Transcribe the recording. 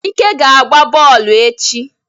Ike ga agba bọọlụ echi.